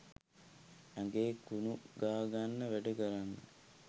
ඇඟේ කුණු ගාගන්න වැඩ කරන්න